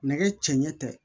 Nɛgɛ cɛɲɛ tɛ